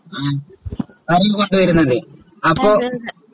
ആഹ് അരി കൊണ്ടുവരുന്നത് അപ്പൊ